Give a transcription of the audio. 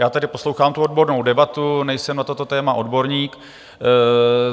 Já tady poslouchám tu odbornou debatu, nejsem na toto téma odborník.